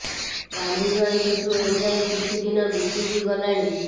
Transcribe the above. ଗାନ୍ଧୀ ଜୟନ୍ତୀଠୁ ଏ ଯାଏ କିଛି ଦିନ ବିତି ବି ଗଲାଣି